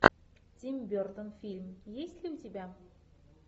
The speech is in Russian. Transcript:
тим бертон фильм есть ли у тебя